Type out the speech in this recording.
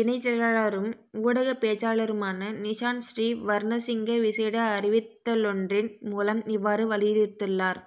இணைச் செயலாளரும் ஊடகப்பேச்சாளருமான நிசாந்த ஸ்ரீ வர்ணசிங்க விசேட அறிவித்தலொன்றின் மூலம் இவ்வாறு வலியுறுத்தியுள்ளார்